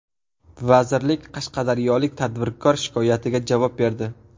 Vazirlik qashqadaryolik tadbirkor shikoyatiga javob berdi.